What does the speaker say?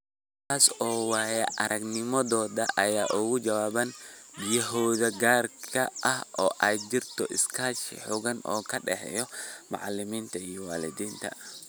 Taas oo waaya-aragnimadooda ay uga jawaabaan baahiyahooda gaarka ah oo ay jirto iskaashi xooggan oo ka dhexeeya macallimiinta iyo waalidiinta.